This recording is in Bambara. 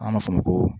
An b'a fɔ o ma ko